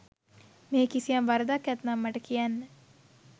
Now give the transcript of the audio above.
මෙහි කිසියම් වරදක් ඇත්නම් මට කියන්න.